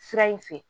Sira in fɛ